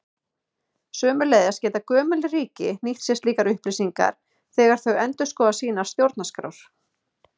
Sömuleiðis geta gömul ríki nýtt sér slíkar upplýsingar þegar þau endurskoða sínar stjórnarskrár.